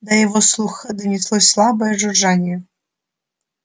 до его слуха донеслось слабое жужжание